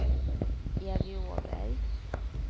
Evy Åberg